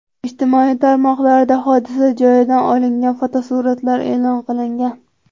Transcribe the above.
Ijtimoiy tarmoqlarda hodisa joyidan olingan fotosuratlar e’lon qilingan.